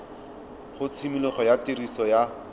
ga tshimologo ya tiriso ya